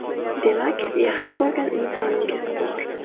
Demak, yaxshi ko‘rgan insoningiz bor?